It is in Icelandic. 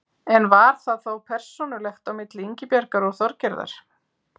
En var það þá persónulegt á milli Ingibjargar og Þorgerðar?